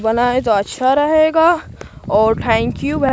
बना है तो अच्छा रहेगा और थैंक यू है।